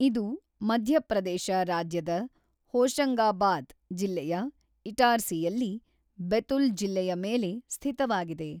ಇದು ಮಧ್ಯಪ್ರದೇಶ ರಾಜ್ಯದ ಹೋಶಂಗಾಬಾದ್ ಜಿಲ್ಲೆಯ ಇಟಾರ್ಸಿಯಲ್ಲಿ, ಬೆತುಲ್ ಜಿಲ್ಲೆಯ ಮೇಲೆ ಸ್ಥಿತವಾಗಿದೆ.